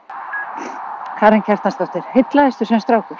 Karen Kjartansdóttir: Heillaðistu sem strákur?